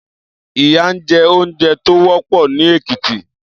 Iyàn jè óoùnjè tó wòpò ni Ekiti